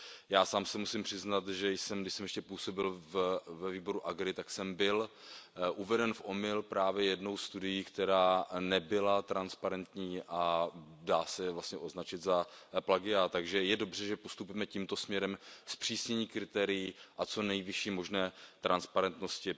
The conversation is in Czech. Já sám se musím přiznat, že jsem, když jsem ještě působil ve výboru AGRI, byl uveden v omyl právě jednou studií, která nebyla transparentní a dá se vlastně označit za plagiát, takže je dobře, že postupujeme tímto směrem zpřísnění kritérií a co nejvyšší možné transparentnosti.